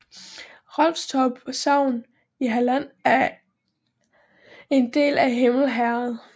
Rolfstorp sogn i Halland var en del af Himle herred